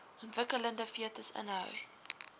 ontwikkelende fetus inhou